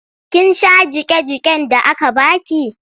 Kin sha jiƙe-jiƙen da aka ba ki?